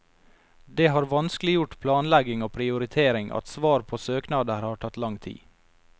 Det har vanskeliggjort planlegging og prioritering at svar på søknader har tatt lang tid.